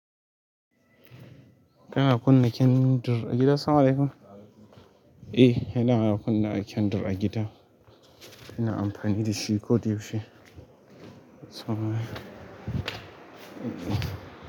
Kana kunna kyandur a gida? Salam alekum. Eh, ina kuna kunna kyandur a gida. Ina amfani da shi ko da yaushe.